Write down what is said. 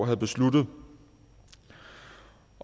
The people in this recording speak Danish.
havde besluttet